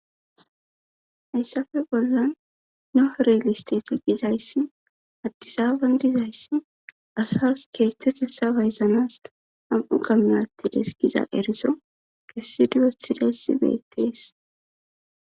hayssafe bollan nohoriliste ti gizayssi addisaban dizayssi asas keeththe kessabayzanas ham7u gamme atti deskiza eriso kessi duyothideyssi beettees